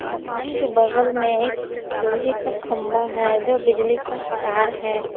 मकान के बगल में एक लोहे का खंबा है जो बिजली का तार है।